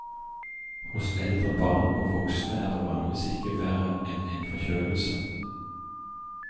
Hos eldre barn og voksne er det vanligvis ikke verre enn en forkjølelse.